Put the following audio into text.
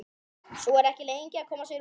Sú er ekki lengi að koma sér úr!